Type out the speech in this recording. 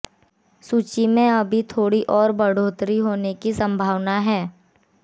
सूची में अभी थोड़ी और बढ़ोतरी होने की संभावना है